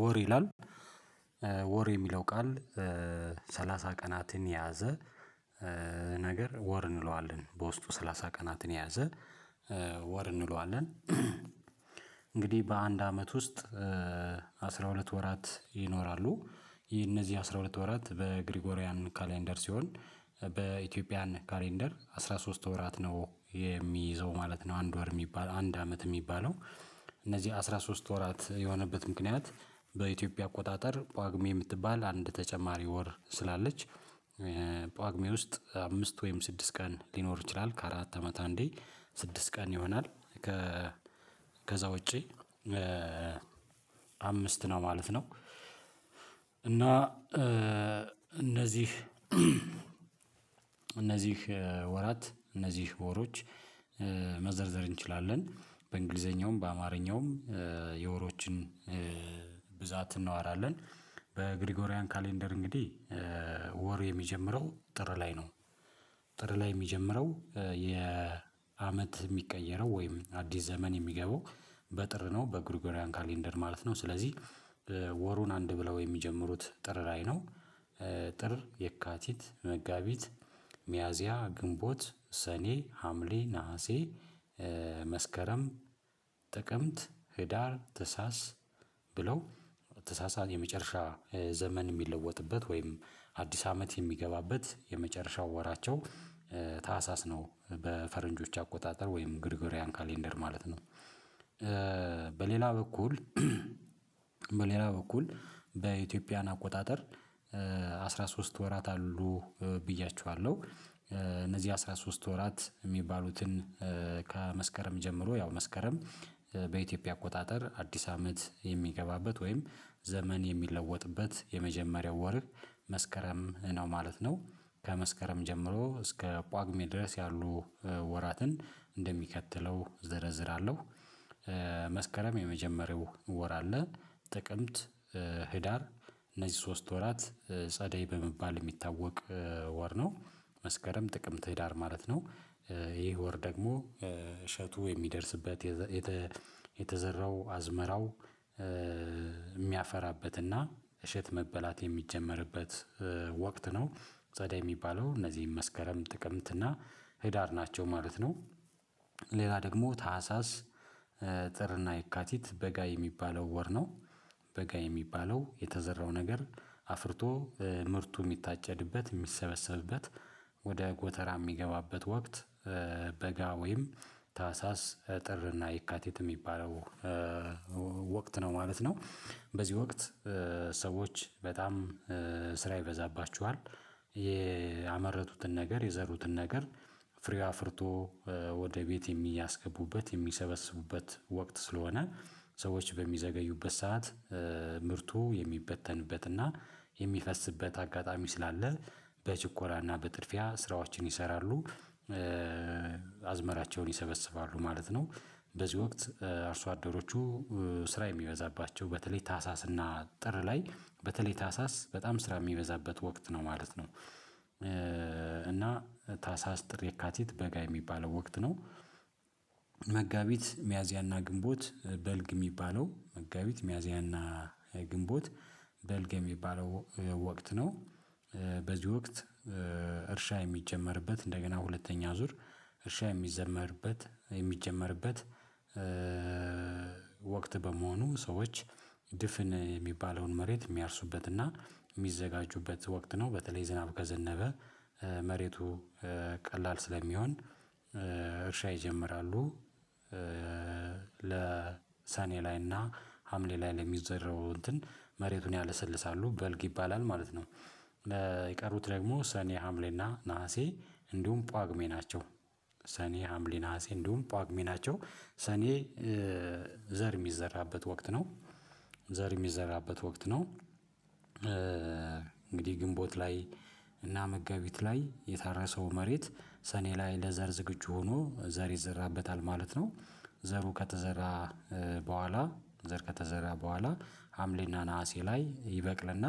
ወር ይላል ወር የሚለው ቃል ሳላሳ ቀናትን የያዘ። ነገር ወር እንለዋለን በውስጡ ሳላሳ ቀናትን የያዘ ወር እንለዋለን። እንግዲህ በአንድ አመት ውስጥ አስራ ሁለት ወራት ይኖራሉ። ይሄ እነዚህ አስራ ሁለት ወራት በግሪጎሪያን ካሌንደር ሲሆን በኢትዮጵያን ካሌንደር አስራ ሶስት ወራት ነው የሚይዘው ማለት ነው። አንድ ወር የሚባል አንድ አመት የሚባለው። እነዚህ አስራ ሶስት ወራት የሆነበት ምክንያት በኢትዮጵያ አቆጣጠር ጳግሜ የምትባል አንድ ተጨማሪ ወር ስላለች። ጳግሜ ውስጥ አምስት ወይም ስድስት ቀን ሊኖር ይችላል ከአራት አመት አንዴ ስድስት ቀን ይሆናል። ከ ከዛ ውጪ አምስት ነው ማለት ነው። እና እነዚህ እነዚህ ወራት እነዚህ ወሮች መዘርዘር እንችላለን በእንግሊዘኛውም በአማርኛውም የወሮችን ብዛት እናወራለን። በግሪጎሪያን ካሌንደር እንግዲህ ወር የሚጀምረው ጥር ላይ ነው። ጥር ላይ የሚጀምረው የአመት የሚቀየረው ወይም አዲስ ዘመን የሚገባው በጥር ነው በጉሪጉርያን ካሌንደር ማለት ነው። ስለዚህ ወሩን አንድ ብለው የሚጀምሩት ጥር ላይ ነው። ጥር የካቲት መጋቢት ሚያዚያ ግንቦት ሰኔ ሀምሌ ነሀሴ መስከረም ጥቅምት ህዳር ታህሳስ ብለው ተሳሳት የመጨረሻ ዘመን የሚለወጥበት ወይም አዲስ አመት የሚገባበት የመጨረሻው ወራቸው ታህሳስ ነው በፈረንጆች አቆጣጠር ወይም ግሪጎሪያን ካሌንደር ማለት ነው። በሌላ በኩል በሌላ በኩል በኢትዮጵያን አቆጣጠር አስራሶስት ወራት አሉ ብያችኋለሁ። እነዚህ አስራሶስት ወራት የሚባሉትን ከመስከረም ጀምሮ ያው መስከረም በኢትዮጵያ አቆጣጠር አዲስ አመት የሚገባበት ወይም ዘመን የሚለወጥበት የመጀመሪያው ወር መስከረም ነው ማለት ነው። ከመስከረም ጀምሮ እስከ ጳጉሜ ድረስ ያሉ ወራትን እንደሚከተለው ዘረዝራለሁ። መስከረም የመጀመሪያው ወር አለ። ጥቅምት ህዳር እነዚህ ሶስት ወራት ጸደይ በመባል የሚታወቅ ወር ነው መስከረም ጥቅም ትዳር ማለት ነው። ይሄ ይህ ወር ደግሞ እሸቱ የሚደርስበት የተዘራው አዝመራው የሚያፈራበትና እሸት መበላት የሚጀመርበት ወቅት ነው። ጸደይ የሚባለው እነዚህን መስከረም ጥቅምት እና ህዳር ናቸው ማለት ነው። ሌላ ደግሞ ታህሳስ ጥርና የካቲት በጋ የሚባለው ወር ነው። በጋ የሚባለው የተዘራው ነገር አፍርቶ ምርቱ የሚታጨድበት የሚሰበሰብበት ወደ ጎተራ የሚገባበት ወቅት በጋ ወይም ታህሳስ ጥርና ይካተት የሚባለው ወቅት ነው ማለት ነው። በዚህ ወቅት ሰዎች በጣም ስራ ይበዛባችኋል ያመረቱትን ነገር የዘሩትን ነገር ፍሬ አፍርቶ ወደ ቤት የሚያስገቡበት የሚሰበስቡበት ወቅት ስለሆነ ሰዎች በሚዘገዩበት ሰዓት ምርቱ የሚበተንበት እና የሚፈስበት አጋጣሚ ስላለ በችኮላና በጥድፊያ ስራዎችን ይሰራሉ። አዝመራቸውን ይሰበስባሉ ማለት ነው። በዚህ ወቅት አርሶ አደሮቹ ስራ የሚበዛባቸው በተለይ ታህሳስ እና ጥር ላይ በተለይ ታህሳስ በጣም ስራ የሚበዛበት ወቅት ነው ማለት ነው። እና ታሳስ ጥር የካቲት በጋ የሚባለው ወቅት ነው። መጋቢት ሚያዝያና ግንቦት በልግ የሚባለው መጋቢት ሚያዝያና ግንቦት በልግ የሚባለው ወቅት ነው። በዚህ ወቅት እርሻ የሚጀመርበት እንደገና ሁለተኛ ዙር እርሻ የሚዘመርበት የሚጀመርበት ወቅት በመሆኑ ሰዎች ድፍን የሚባለውን መሬት የሚያርሱበትና የሚዘጋጁበት ወቅት ነው። በተለይ ዝናብ ከዘነበ መሬቱ ቀላል ስለሚሆን እርሻ ይጀምራሉ ለ ለሰኔ ላይና ሀምሌ ላይ ለሚዘረው እንትን መሬቱን ያለሰልሳሉ በልግ ይባላል ማለት ነው። የቀሩት ደግሞ ሰኔ ሀምሌና ነሀሴ እንዲሁም ጳጉሜ ናቸው። ሰኔ ሀምሌ ነሀሴ እንዲሁም ጳጉሜ ናቸው። ሰኔ ዘር የሚዘራበት ወቅት ነው። ዘር የሚዘራበት ወቅት ነው። እንግዲህ ግንቦት ላይ እና መጋቢት ላይ የታረሰው መሬት ሰኔ ላይ ለዘር ዝግጁ ሆኖ ዘር ይዘራበታል ማለት ነው። ዘሩ ከተዘራ በኋላ ዘር ከተዘራ በኋላ ሀምሌና ነሀሴ ላይ ይበቅልና